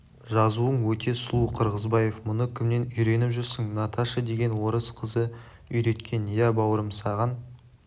жазуың өте сұлу қырғызбаев мұны кімнен үйреніп жүрсің наташа деген орыс қызы үйреткен иә бауырым саған